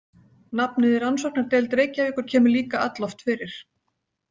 Nafnið Rannsóknardeild Reykjavíkur kemur líka alloft fyrir.